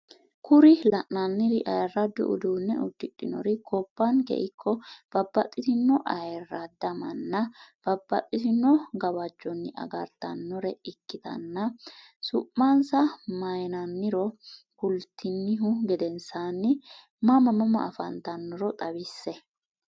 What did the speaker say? Kuri lainannir ayirado uduunne udidhinor gobbanke ikko babbaxino ayirada manna babbaxitinno gawajjonni agartanore ikkitanna su'mansa mayinanniro kulitinihu gedensanni mama mama afantannorono xawisse?